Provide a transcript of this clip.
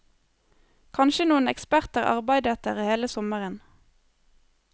Kanskje noen eksperter arbeidet der hele sommeren.